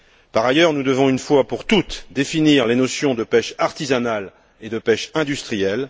Par ailleurs, nous devons, une fois pour toutes, définir les notions de pêche artisanale et de pêche industrielle.